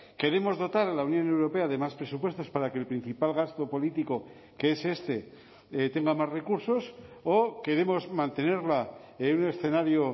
queremos dotar a la unión europea de más presupuestos para que el principal gasto político que es este tenga más recursos o queremos mantenerla en un escenario